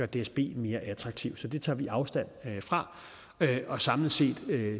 dsb mere attraktiv så det tager vi afstand fra og samlet set